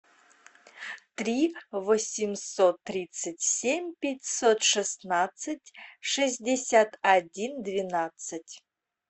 три восемьсот тридцать семь пятьсот шестнадцать шестьдесят один двенадцать